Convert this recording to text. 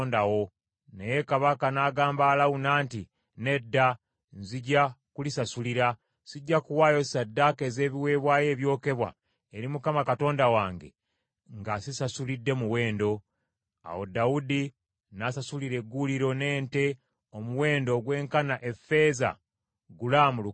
Naye kabaka n’agamba Alawuna nti, “Nedda, nzija kulisasulira . Sijja kuwaayo ssaddaaka ez’ebiweebwayo ebyokebwa eri Mukama Katonda wange, nga sisasulidde muwendo.” Awo Dawudi n’asasulira egguuliro n’ente, omuwendo ogw’enkana effeeza, gulaamu lukaaga.